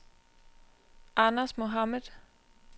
Anders Mohamed